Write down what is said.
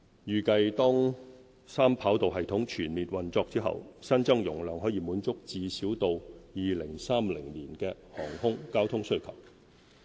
預計當三跑道系統全面運作後，新增容量可滿足最少到2030年的航空交通需求。